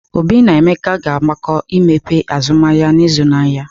Obi na Emeka ga-agbakọ aka imepe azụmahịa n'izu na-abịa.